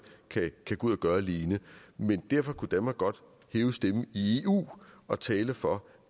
kan gå ud og gøre alene men derfor kunne danmark godt hæve stemmen i eu og tale for